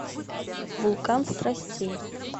вулкан страстей